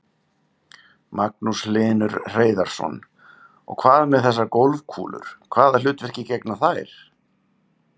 Magnús Hlynur Hreiðarsson: Og hvað með þessar golfkúlur, hvaða hlutverki gegna þær?